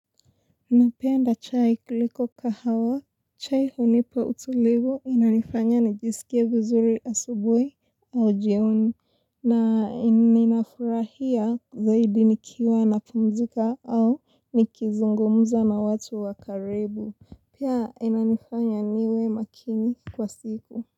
Napenda chai kuliko kahawa, chai hunipa utulivu inanifanya nijisikie vizuri asubuhi au jioni, na inafurahia zaidi nikiwa napumzika au nikizungumza na watu wa karibu, pia inanifanya niwe makini kwa siku.